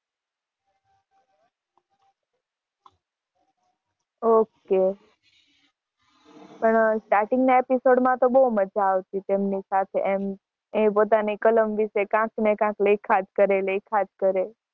okay